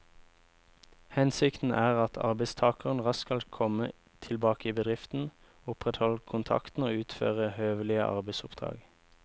Hensikten er at arbeidstakeren raskt skal komme tilbake i bedriften, opprettholde kontakten og utføre høvelige arbeidsoppdrag.